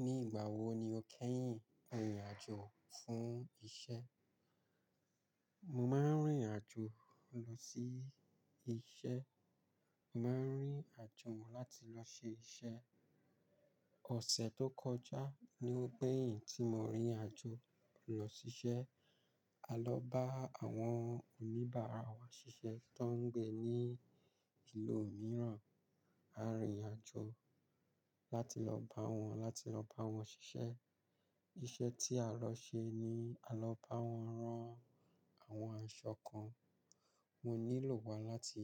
Ní ìgbà wo ni o kẹ́yìn rìnrìn àjò fún iṣẹ́? Mo máa ń rìnrìn àjò lọ sí iṣẹ́. Mo máa ń rìn àjò láti lọ ṣe iṣẹ́. Ọ̀sẹ̀ tó kọjá ni ó gbẹ̀yìn tí mo rìnrìn àjò lọ ṣiṣẹ́. A lọ bá àwọn oníbàárà wa ṣiṣẹ́ tó ń gbé ní ìlú mìíràn. A rìnrìn àjò láti lọ bá wọn, láti lọ bá wọn ṣiṣẹ́. Iṣẹ́ tí a lọ ṣe ni a lọ bá wọn rán àwọn aṣọ kan. Mo nílò wa láti